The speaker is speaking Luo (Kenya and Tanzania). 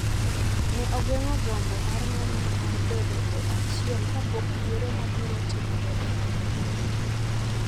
ne ogeng’o gombo mar ng’omno mar bedo e achiel kapok yiero mabiro timore e higa mabiro.